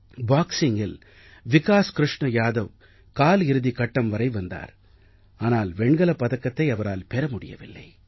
பாக்ஸிங்கில் விகாஸ் க்ருஷ்ண யாதவ் கால் இறுதி கட்டம் வரை வந்தார் ஆனால் வெண்கலப் பதக்கத்தை அவரால் பெற முடியவில்லை